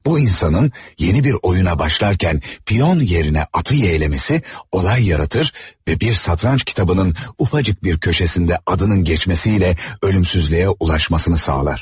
Bu insanın yeni bir oyuna başlarkən piyyon yerine atı yeyləməsi olay yaratır və bir satranç kitabının ufacık bir köşesində adının geçmesiylə ölümsüzlüyə ulaşmasını sağlar.